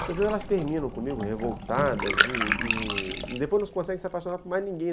Então, às vezes, elas terminam comigo revoltadas e e depois não conseguem se apaixonar por mais ninguém.